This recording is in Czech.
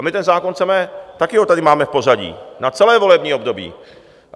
A my ten zákon chceme, taky ho tady máme v pořadí na celé volební období.